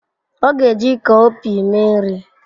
Ọ ga-eji cowpea mee nri.